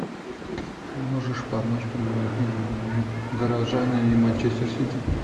можешь помочь прямой эфир горожане и манчестер сити